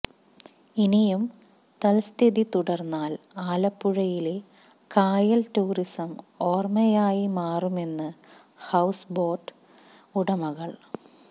ഇനിയും തൽസ്ഥിതി തുടർന്നാൽ ആലപ്പുഴയിലെ കായൽ ടൂറിസം ഓർമയായി മാറുമെന്ന് ഹൌസ് ബോട്ട് ഉടമകൾ